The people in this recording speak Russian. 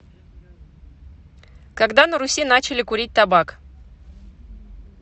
когда на руси начали курить табак